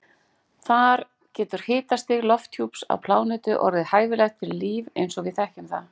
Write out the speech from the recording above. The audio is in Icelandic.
Þar getur hitastig lofthjúps á plánetu orðið hæfilegt fyrir líf eins og við þekkjum það.